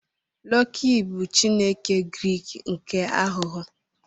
Loki bụ Chineke Grik nke aghụghọ.